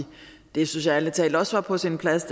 det synes jeg ærlig talt også var på sin plads